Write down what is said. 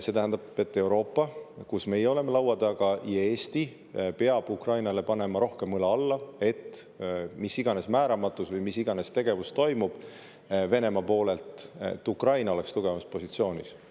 See tähendab, et Euroopa, kus meie oleme laua taga, ja Eesti peab Ukrainale panema rohkem õla alla, et mis iganes määramatus või mis iganes tegevus toimub Venemaa poolelt, Ukraina oleks tugevamas positsioonis.